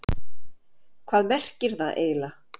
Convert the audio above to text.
Hvað merkir það eiginlega?